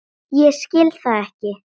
Ég skil það ekki!